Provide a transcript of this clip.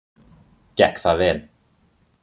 Gekk það vel.